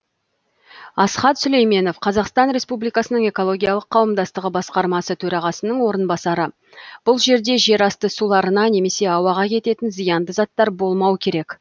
асхат сүлейменов қазақтан республикасының экологиялық қауымдастығы басқармасы төрағасының орынбасары бұл жерде жерасты суларына немесе ауаға кететін зиянды заттар болмау керек